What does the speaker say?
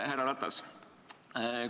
Härra Ratas!